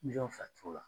Miliyɔn fila turu